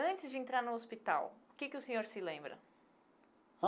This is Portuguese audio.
Antes de entrar no hospital, o que que o senhor se lembra?